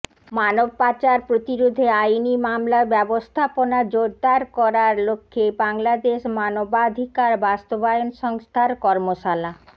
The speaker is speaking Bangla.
মানব পাচার প্রতিরোধে আইনি মামলা ব্যবস্থাপনা জোড়দার করার লক্ষ্যে বাংলাদেশ মানবাধিকার বাস্তবায়ন সংস্থার কর্মশালা